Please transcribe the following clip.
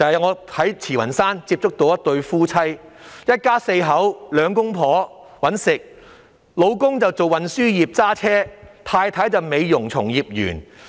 我在慈雲山接觸到一對夫婦，他們一家四口，兩夫婦均有工作，丈夫是運輸業的司機，太太是美容從業員。